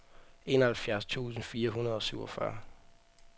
enoghalvfjerds tusind fire hundrede og syvogfyrre